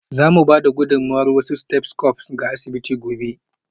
Za mu ba da gudummawar wasu stethoscopes ga asibiti gobe.